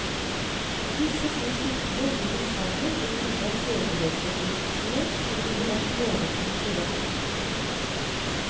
Disse to kildene gir til sammen et bilde av sedelighetsforbrytelsene som burde være noenlunde korrekt.